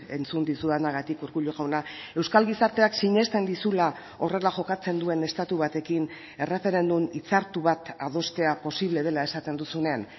entzun dizudanagatik urkullu jauna euskal gizarteak sinesten dizula horrela jokatzen duen estatu batekin erreferendum hitzartu bat adostea posible dela esaten duzunean